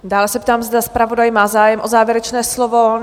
Dále se ptám, zda zpravodaj má zájem o závěrečné slovo?